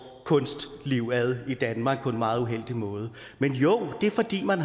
kunstliv ad i danmark på en meget uheldig måde men jo det er fordi man